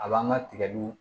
A b'an ka tigɛliw